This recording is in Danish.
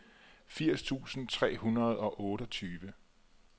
firs tusind tre hundrede og otteogtyve